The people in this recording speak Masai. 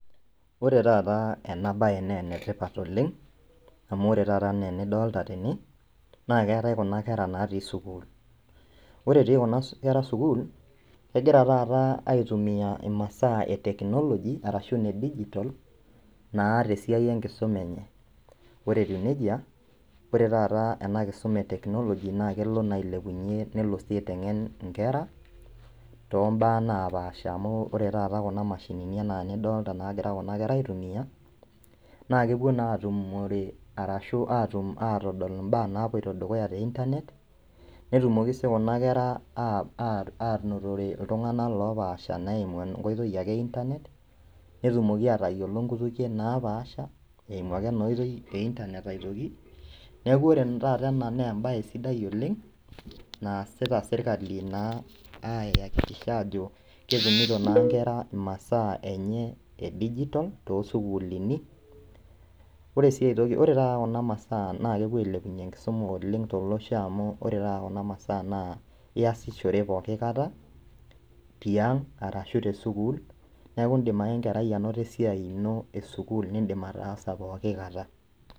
Ore taata ena baye nenetipat oleng' amu ore taata enaa enidolta tene naa keetae kuna kera natii sukuul ore etii kuna kera sukuul kegira taata aitumia imasaa e technology arashu ine digital naa tesiai enkisuma enye ore etiu nejia ore taata ena kisuma e technology naa kelo naa ailepunyie nelo sii aiteng'en inkera tombaa napaasha amu ore taata kuna mashinini enaa nidolta naagira kuna kera aitumiyia naa kepuo naa atumore arashu atum atodol imbaa napuoito dukuya te internet netumoki sii kuna kera uh anotore iltung'anak lopaasha naa eimu enkoitoi ake internet netumoki atayiolo inkoitoi napaasha eimu ake ena oitoi e internet ake neku ore taata ena naa embaye sidai oleng' naasita sirkali naa ayakikisha ajo ketumito naa inkera imasaa enye e digital tosukulini ore sii aitoki ore taata kuna masaa naa kepuo ailepunyie enkisuma oleng' tolosho amu ore taata kuna masaa naa iyasishore poki kata tiang arashu tesukuul neku indim ake enkerai anoto esiai ino esukuul nindim ataasa poki kata.